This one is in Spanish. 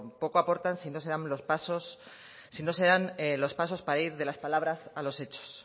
poco aportan si no se dan los pasos para ir de las palabras a los hechos